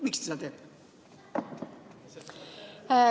Miks te seda teete?